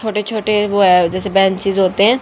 छोटे छोटे वो हैं जैसे बेंचेस होते है।